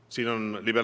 Ja see ongi oluline.